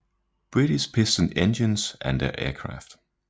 British Piston Engines and their Aircraft